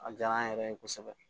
A diyara an yɛrɛ ye kosɛbɛ